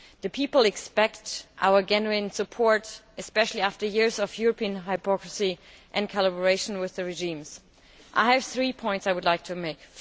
The people expect our genuine support especially after years of European hypocrisy and collaboration with the regimes. I have three points I would like to make.